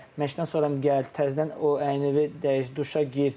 Məşqdən sonra gəl, təzədən o əynivi dəyiş, duşa gir.